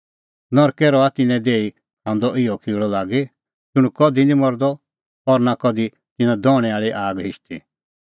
ज़िधी तिन्नों किल़अ निं मरदअ और आग निं हिशदी